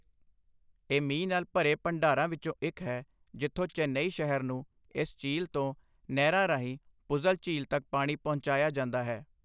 ਇਹ ਮੀਂਹ ਨਾਲ ਭਰੇ ਭੰਡਾਰਾਂ ਵਿੱਚੋਂ ਇੱਕ ਹੈ, ਜਿੱਥੋਂ ਚੇਨਈ ਸ਼ਹਿਰ ਨੂੰ ਇਸ ਝੀਲ ਤੋਂ ਨਹਿਰਾਂ ਰਾਹੀਂ ਪੁਜ਼ਲ ਝੀਲ ਤੱਕ ਪਾਣੀ ਪਹੁੰਚਾਇਆ ਜਾਂਦਾ ਹੈ।